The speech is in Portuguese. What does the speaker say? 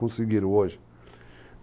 Conseguiram hoje.